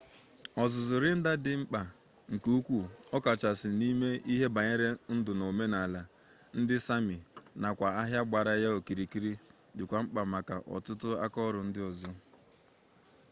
ọzụzụ reindeer dị mkpa nke ukwuu ọkachasị n'ime ihe banyere ndụ na omenaala ndị sami nakwa ahịa gbara ya okirikiri dịkwa mkpa maka ọtụtụ akaọrụ ndị ọzọ